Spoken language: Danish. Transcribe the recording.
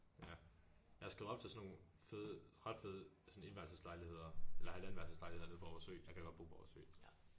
Ja jeg er skrevet op til sådan nogle fede ret fede sådan etværelseslejligheder eller halvandenværelseslejligheder nede på Aarhus Ø jeg gad godt bo på Aarhus Ø